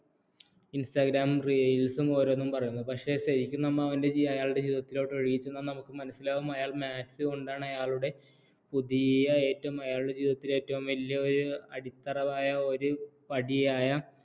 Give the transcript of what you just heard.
instgram reels ഉം ഓരോന്നും പറയുന്നു പക്ഷേ ശരിക്കും നമ്മൾ അവൻറെ അയാളുടെ ജീവിതത്തിലോട്ട് ഒഴുകി ചെന്നാൽ നമുക്ക് മനസ്സിലാകും അയാൾ maths കൊണ്ടാണ് അയാളുടെ പുതിയ ഏറ്റവും അയാളുടെ ജീവിതത്തിൽ ഏറ്റവും വലിയ ഒരു അടിത്തറവായ ഒരു പടിയായ